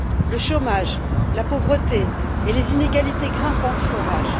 Le chômage, la pauvreté et les inégalités grimpantes font rage.